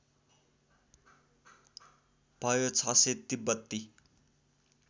भयो ६०० तिब्बती